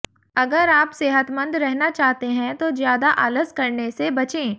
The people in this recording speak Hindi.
अगर आप सेहतमंद रहना चाहते हैं तो ज्यादा आलस करने से बचें